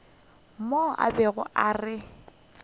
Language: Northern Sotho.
mo a bego a re